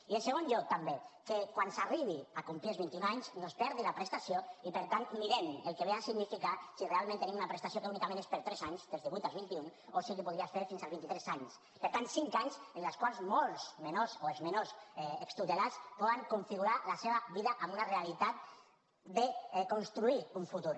i en segon lloc també que quan s’arribi a complir els vint i un anys no es perdi la prestació i per tant mirem el que ve a significar si realment tenim una prestació que únicament és per a tres anys dels divuit als vint i un o si es podria fer fins als vint i tres anys per tant cinc anys en els quals molts menors o els menors extutelats poden configurar la seva vida amb una realitat de construir un futur